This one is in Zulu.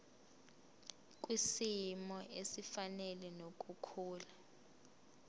kwisimo esifanele nokukhula